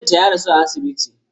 Mijinta ya rasu a asibiti.